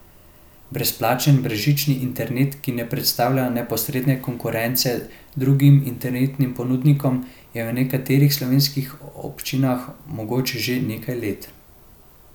Brezplačen brezžični internet, ki ne predstavlja neposredne konkurence drugim internetnim ponudnikom, je v nekaterih slovenskih občinah mogoč že nekaj let.